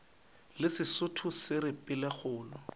le sesotho se re pelokgolo